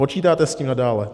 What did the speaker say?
Počítáte s tím nadále?